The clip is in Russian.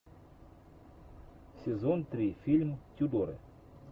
сезон три фильм тюдоры